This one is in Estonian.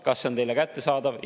Kas see on teile kättesaadav?